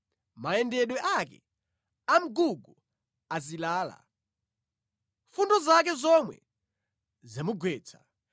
Mayendedwe ake amgugu azilala; fundo zake zomwe zamugwetsa.